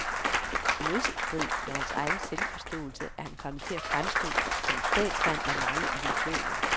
I modstrid med hans egen selvforståelse er han kommet til at fremstå som en statsmand med mange illusioner.